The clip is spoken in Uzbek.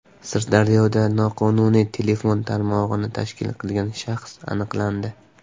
Sirdaryoda noqonuniy telefon tarmog‘ini tashkil qilgan shaxs aniqlandi.